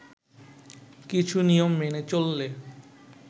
কিছু নিয়ম মেনে চললে